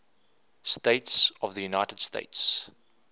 states of the united states